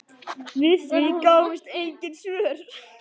Við því gáfust engin svör.